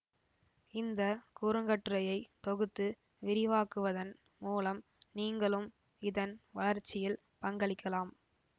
இந்த குறுங்கட்டுரையை தொகுத்து விரிவாக்குவதன் மூலம் நீங்களும் இதன் வளர்ச்சியில் பங்களிக்கலாம்